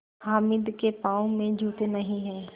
हामिद के पाँव में जूते नहीं हैं